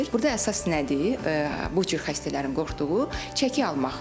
Burda əsas nədir, bu cür xəstələrin qorxduğu çəki almaq.